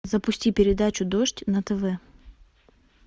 запусти передачу дождь на тв